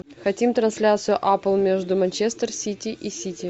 хотим трансляцию апл между манчестер сити и сити